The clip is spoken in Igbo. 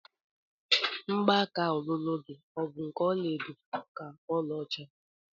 Mgbaka ọlụlụ gị ọ bụ nke ọla edo ka ọla ọcha?